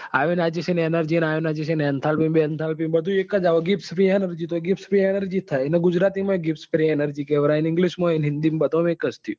એને ગુજરાતી માં હિન્દી ને બધા માં એક જ થયું.